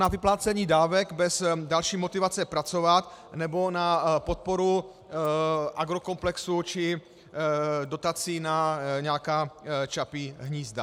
Na vyplácení dávek bez další motivace pracovat nebo na podporu agrokomplexu či dotací na nějaká Čapí hnízda.